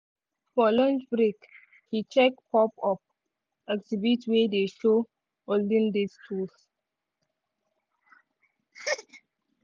for lunch break he check pop-up exhibit wey dey show olden days tools.